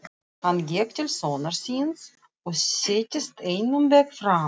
Hann gekk til sonar síns og settist einum bekk framar.